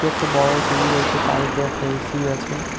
একটা বড়ো টি_ভি রয়েছে তার ওপরে একটা এ_সি আছে।